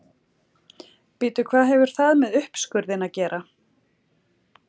Bíddu hvað hefur það með uppskurðinn að gera?